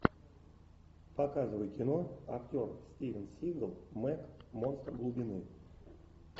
показывай кино актер стивен сигал мег монстр глубины